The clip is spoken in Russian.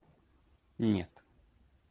нет